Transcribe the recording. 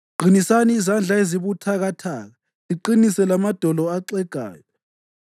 Qinisani izandla ezibuthakathaka, liqinise lamadolo axegayo;